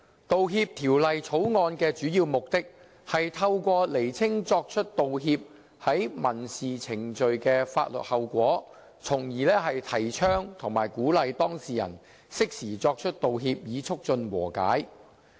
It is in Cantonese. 《道歉條例草案》的主要目的，是透過釐清作出道歉在民事程序的法律後果，從而提倡和鼓勵當事人適時作出道歉，以促進和解。